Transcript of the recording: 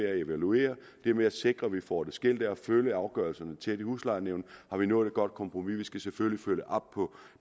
at evaluere ved at sikre at vi får det skilt ad og følge afgørelserne tæt i huslejenævnet har vi nået et godt kompromis vi skal selvfølgelig følge op på